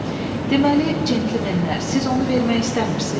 Deməli, centlmenlər, siz onu vermək istəmirsiz?